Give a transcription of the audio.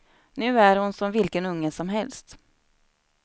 Nu är hon som vilken unge som helst.